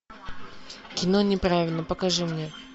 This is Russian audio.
кино неправильно покажи мне